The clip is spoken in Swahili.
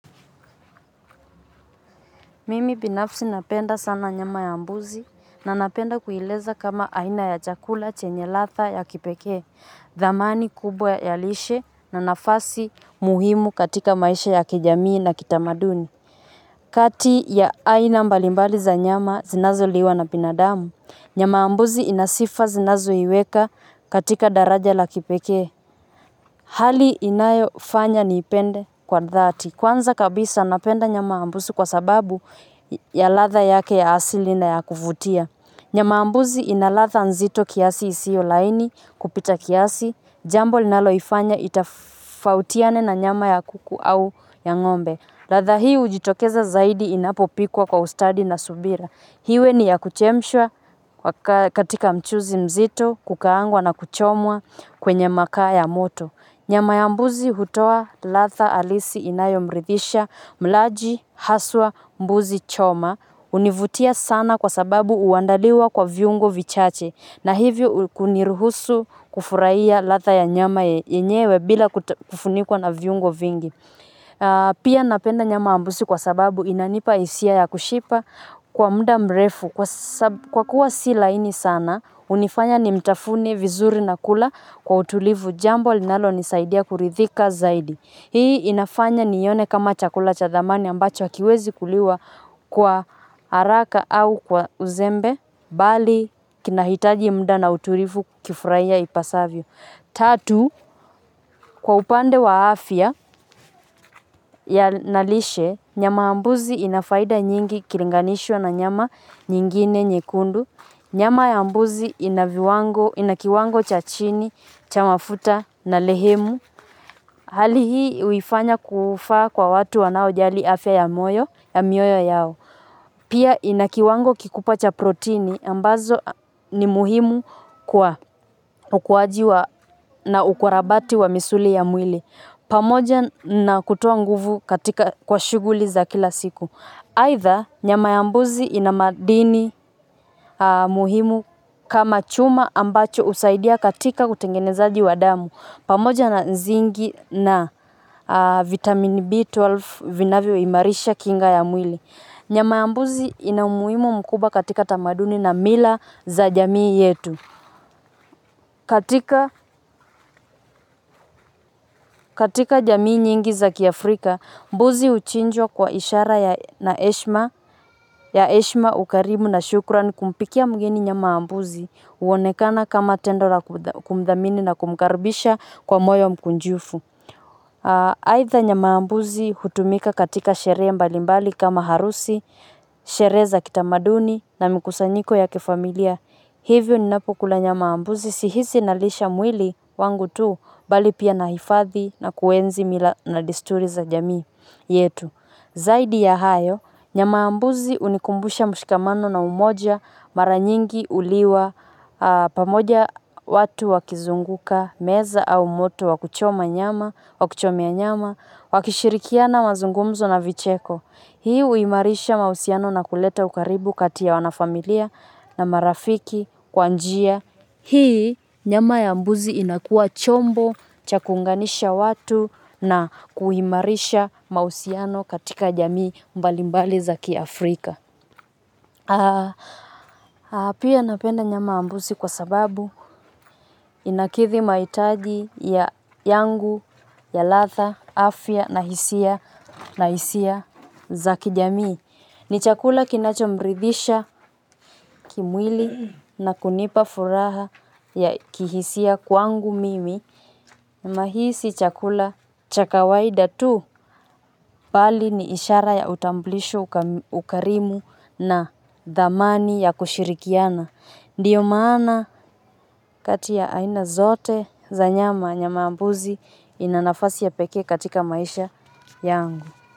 Mimi binafsi napenda sana nyama ya mbuzi, na napenda kueleza kama aina ya chakula chenye ladha ya kipekee. Thamani kubwa ya lishe na nafasi muhimu katika maisha ya kijamii na kitamaduni. Kati ya aina mbalimbali za nyama zinazoliwa na binadamu, nyama ya mbuzi ina sifa zinazoiweka katika daraja la kipekee. Hali inayo fanya niipende kwa dhati. Kwanza kabisa, napenda nyama ya mbuzi kwa sababu ya ladha yake ya asili na ya kuvutia. Nyama ya mbuzi ina ladha nzito kiasi, isio laini kupita kiasi. Jambo linaloifanya itofautiane na nyama ya kuku au ya ng'ombe. Ladha hii hijitokeza zaidi inapopikwa kwa ustadi na subira iwe ni ya kuchemshwa katika mchuzi mzito, kukaangwa, na kuchomwa kwenye makaa ya moto. Nyama ya mbuzi hutoa ladha halisi inayomridisha mlaji, haswa mbuzi choma. Hunivutia sana kwa sababu huandaliwa kwa viungo vichache na hivyo kuniruhusu kufurahia ladha ya nyama yenyewe bila kufunikwa na viungo vingi. Pia napenda nyama ay mbuzi kwa sababu inanipa hisia ya kushiba kwa muda mrefu kwa kuwa si laini sana, hunifanya nimtafune vizuri na kula kwa utulivu, jambo linalonisaidia kuridhika zaidi. Hii inafanya nione kama chakula cha thamani ambacho hakiwezi kuliwa kwa haraka au kwa uzembe, bali kinahitaji muda na utulivu kukifurahia ipasavyo. Tatu, kwa upande wa afya na lishe, nyama ya mbuzi ina faida nyingi ikilinganishwa na nyama nyingine nyekundu. Nyama ya mbuzi ina kiwango cha chini cha mafuta na lehemu. Hali hiii huifanya kufaa kwa watu wanaojali afya ya mioyo yao. Pia ina kiwango kikubwa cha protini ambazo ni muhimu kwa ukuajiwa na ukarabati wa misuli ya mwili. Pamoja na kutoa nguvu katika kwa shughuli za kila siku. Aidha, nyama ya mbuzi ina madini muhimu kama chuma, ambacho husaidia katika kutengenezaji wa damu. Pamoja na nzinki na vitamin B12 vinavyoimarisha kinga ya mwili. Nyama ya mbuzi ina umuhimu mkubwa katika tamaduni na mila za jamii yetu. Katika jamii nyingi za kiafrika, mbuzi huchinjwa kwa ishara ya heshima, ukarimu na shukurani. Kumpikia mgeni nyama ya mbuzi, huonekana kama tendo la kumthamini na kumkaribisha kwa moyo mkunjufu. Aidha, nyama ya mbuzi hutumika katika sherehe mbalimbali, kama harusi, shere za kitamaduni na mikusanyiko ya kifamilia. Hivyo, ninapukula nyama ya mbuzi, sihisi nalisha mwili wangu tu, bali pia nahifadhi na kuenzi mila na disturi za jamii yetu. Zaidi ya hayo, nyama ya mbuzi hunikumbusha mshikamano na umoja mara nyingi huliwa pamoja, watu wakizunguka meza au moto wakuchoma nyama, wa kuchomea nyama, wakishirikiana mazungumzo na vicheko. Hii huimarisha mahusiano na kuleta ukaribu kati ya wana familia na marafiki kwa njia. Hii nyama ya mbuzi inakuwa chombo cha kuunganisha watu na kuhimarisha mahusiano katika jamii mbalimbali za ki Afrika. Pia napenda nyama ya mbuzi kwa sababu inakidhi mahitaji yangu ya ladha, afya na hisia na hisia za kijamii. Ni chakula kinachomridisha kimwili na kunipa furaha ya kihisia kwangu mimi. Nahisi chakula cha kawaida tu bali ni ishara ya utamblisho, ukarimu na thamani ya kushirikiana. Ndiyo maana kati ya aina zote za nyama, nyama ya mbuzi ina nafasi ya pekee katika maisha yangu.